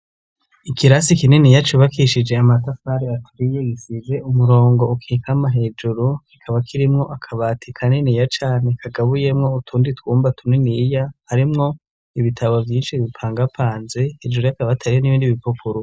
ikirasi kinini yacubakishije amatafari aturiye isize umurongo ukikama hejuru ikaba kirimwo akabati kaniniya cane kagabuyemwo utundi twumba tuniniya harimwo ibitabo vyinshi bipangapanze hejuru y'akabati ariyo n'ibindi bipukuru